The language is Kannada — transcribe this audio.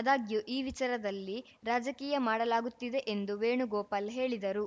ಆದಾಗ್ಯೂ ಈ ವಿಚಾರದಲ್ಲಿ ರಾಜಕೀಯ ಮಾಡಲಾಗುತ್ತಿದೆ ಎಂದು ವೇಣುಗೋಪಾಲ್‌ ಹೇಳಿದರು